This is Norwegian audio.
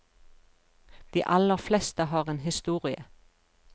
De aller fleste har en historie.